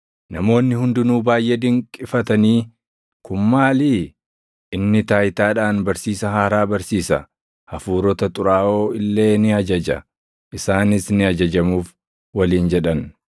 Namoonni hundinuu baayʼee dinqifatanii, “Kun maalii? Inni taayitaadhaan barsiisa haaraa barsiisa! Hafuurota xuraaʼoo illee ni ajaja; isaanis ni ajajamuuf” waliin jedhan.